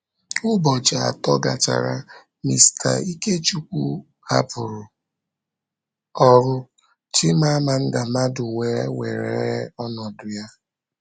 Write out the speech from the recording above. Ụbọchị atọ gachara, Mr. Ikechukwu hapụrụ ọrụ, Chimamanda Madu wee were ọnọdụ ya.